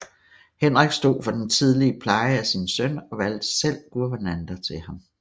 Henrik stod for den tidlige pleje af sin søn og valgte selv guvernanter til ham